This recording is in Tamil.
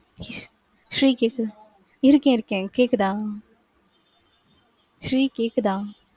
ஸ்ரீ கேக்குதா? இருக்கேன் இருக்கேன் கேட்குதா ஸ்ரீ கேக்குதா?